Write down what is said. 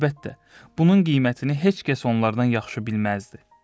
Əlbəttə, bunun qiymətini heç kəs onlardan yaxşı bilməzdi.